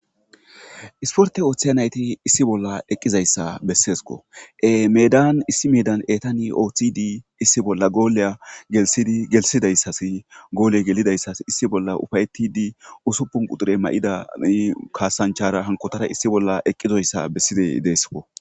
isporte ooththiyanayti issi bolla eqqizayssa besseesko e medan issi medan etani ooththidi issi bolla gooleya gelidigelsidayssasi goole gelidayssas issi bolla ufayetidi usuppun qudure ma7idai kaasanchara hankotara issi bolla eqqizoyssa bessidey deesko